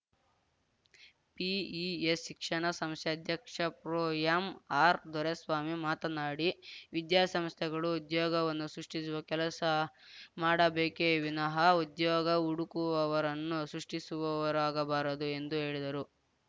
PES ಶಿಕ್ಷಣ ಸಂಸ್ಥೆ ಅಧ್ಯಕ್ಷ ಪ್ರೊ ಎಂಆರ್‌ ದೊರೆಸ್ವಾಮಿ ಮಾತನಾಡಿ ವಿದ್ಯಾಸಂಸ್ಥೆಗಳು ಉದ್ಯೋಗವನ್ನು ಸೃಷ್ಟಿಸುವ ಕೆಲಸ ಮಾಡಬೇಕೆ ವಿನಃ ಉದ್ಯೋಗ ಹುಡುಕುವವರನ್ನು ಸೃಷ್ಟಿಸುವವರಾಗಬಾರದು ಎಂದು ಹೇಳಿದರು